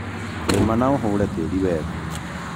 rĩma na ũhũre tĩĩrĩ wega